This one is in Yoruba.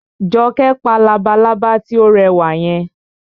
Jọkẹ́ pa labalábá tí ó rẹwà yẹn